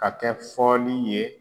Ka kɛ fɔli ye